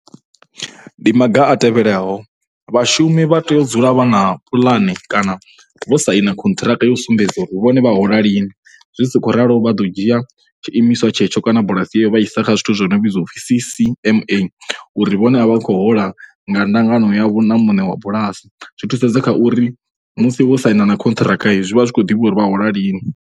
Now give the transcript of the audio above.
Ndi maga a tevhelaho, vhashumi vha tea u dzula vha na puḽane kana vho saina khonṱhiraka yo sumbedza uri vhone vha hola lini. Zwi si khou ralo vha ḓo dzhia tshiimiswa tshetsho kana bulasi yeyo vha i isa kha zwithu zwi no vhidzwa u pfhi C_C_M_A uri vhone a vha khou hola nga ndangano yavho na muṋe wa bualasi. Zwi thusedza kha uri musi vho saina na khonṱhiraka zwi vha zwi khou ḓivhea uri vha hola lini.